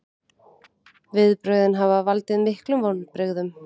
Viðbrögðin hafi valdið miklum vonbrigðum